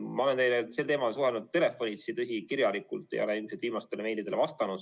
Ma olen teiega sel teemal suhelnud telefonitsi, tõsi, kirjalikult ei ole ilmselt viimastele meilidele vastanud.